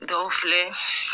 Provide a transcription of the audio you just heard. Dɔw filɛ.